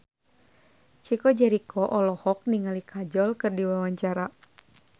Chico Jericho olohok ningali Kajol keur diwawancara